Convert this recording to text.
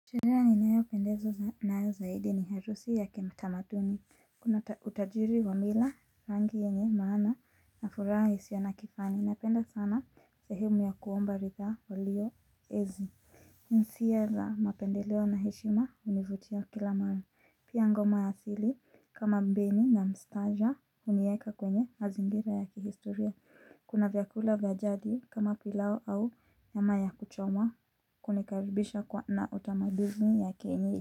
Sherehe ninayopendezwa nayo zaidi ni harusi ya kitamaduni. Kuna utajiri wa mila, rangi yenye maana na furaha isiyo na kifani. Napenda sana sehemu ya kuomba ridhaa walio ezi. Isiyo la mapendeleo na heshima hunivutia kila mara. Pia ngoma ya asili kama mbinu na mstaja hunieka kwenye mazingira ya kihistoria. Kuna vyakula vya jadi kama pilau au nyama ya kuchoma kunikaribisha kwa na utamaduni ya kienye.